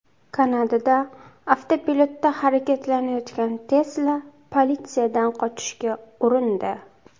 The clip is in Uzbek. Kanadada avtopilotda harakatlanayotgan Tesla politsiyadan qochishga urindi.